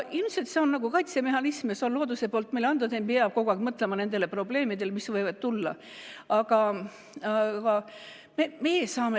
Ilmselt on see nagu kaitsemehhanism ja see on looduse poolt meile antud, et ei pea kogu aeg mõtlema nendele probleemidele, mis võivad tulla.